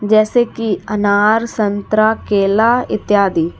जैसे कि अनार संतरा केला इत्यादि।